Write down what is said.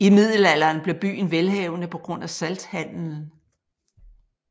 I middelalderen blev byen velhavende på grund af salthandelen